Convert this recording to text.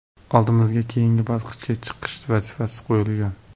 Oldimizga keyingi bosqichga chiqish vazifasi qo‘yilgan.